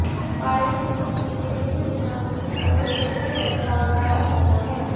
firing स्थिति में यह दुकान की ओर पिछड़े प्रस्ताव लाया जाता है